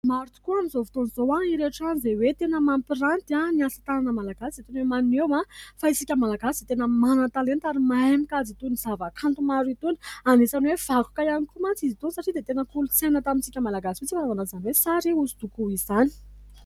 Maro tokoa amin'izao fotoan'izao ireo trano izay hoe tena mampiranty ny asa tanana malagasy sy tena maneho fa isika malagasy tena manan-talenta ary mahay mikajy itony zavakanto maro itony. Anisany hoe vakoka ihany koa mantsy izy itony satria dia tena kolontsaina tamintsika malagasy mihitsy fanaovana izany hoe sary hosodoko izany.